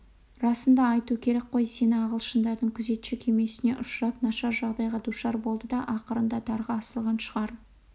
расын айту керек қой сені ағылшындардың күзетші кемесіне ұшырап нашар жағдайға душар болды да ақырында дарға асылған шығар